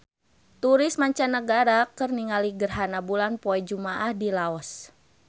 Turis mancanagara keur ningali gerhana bulan poe Jumaah di Laos